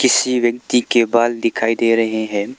किसी व्यक्ति के बाल दिखाई दे रहे हैं।